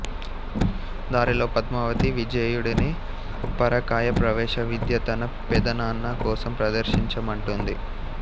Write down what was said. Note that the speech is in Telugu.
దారిలో పద్మావతి విజేయుడిని పరకాయ ప్రవేశ విద్య తన పెదనాన్న కోసం ప్రదర్శించ మంటుంది